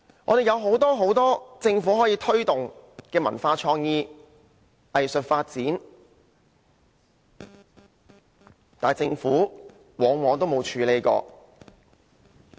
我們政府有很多空間可以推動文化創意、藝術發展，但政府往往也沒有處理。